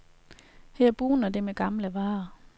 Her bugner det med gamle varer.